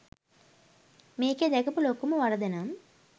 මේකේ දැකපු ලොකුම වරදනම්